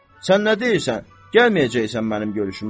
Sən nə deyirsən, gəlməyəcəksən mənim görüşümə?